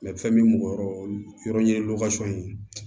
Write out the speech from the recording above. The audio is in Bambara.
fɛn min ye mɔgɔ yɔrɔ ye ye